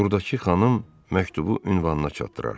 Turadakı xanım məktubu ünvanına çatdırar.